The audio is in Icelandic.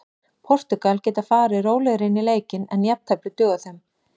Portúgal geta farið rólegri inn í leikinn en jafntefli dugar þeim.